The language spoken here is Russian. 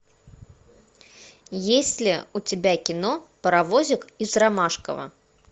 есть ли у тебя кино паровозик из ромашково